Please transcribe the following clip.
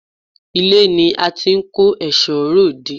Ilé ni à n ti n kó èsó ròde